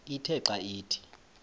ithe xa ithi